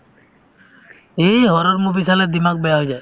এই horror movie চালে dimag বেয়া হৈ যায়